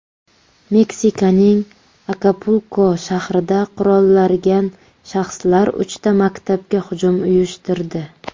Meksikaning Akapulko shahrida qurollargan shaxslar uchta maktabga hujum uyushtirdi.